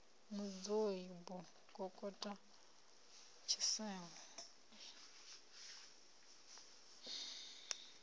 mudzio b u kokota tshiselo